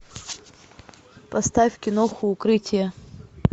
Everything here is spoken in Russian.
поставь киноху укрытие